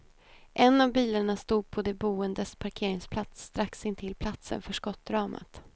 En av bilarna stod på de boendes parkeringsplats strax intill platsen för skottdramat.